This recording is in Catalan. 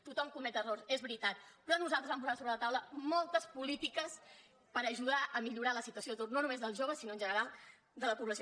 tothom comet errors és veritat però nosaltres vam posar sobre la taula moltes polítiques per ajudar a millorar la situació d’atur no només dels joves sinó en general de la població